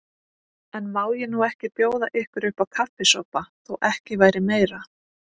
En má ég nú ekki bjóða ykkur uppá kaffisopa, þó ekki væri meira.